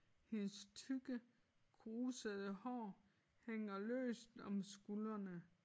Hendes tykke krusede hår hænger løst om skuldrene